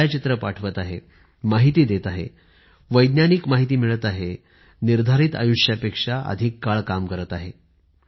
छायाचित्रे पाठवत आहे माहिती देत आहे वैज्ञानिक माहिती मिळत आहे तर निर्धारित आयुष्यापेक्षा अधिक काळ काम करत आहे